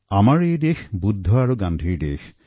আমাৰ দেশ বুদ্ধ আৰু গান্ধীৰ দেশ